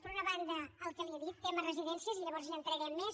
per una banda el que li he dit tema residències i llavors ja hi entrarem més